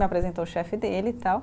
Me apresentou o chefe dele e tal.